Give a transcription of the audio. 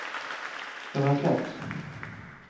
rakett